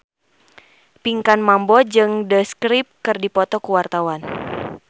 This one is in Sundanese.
Pinkan Mambo jeung The Script keur dipoto ku wartawan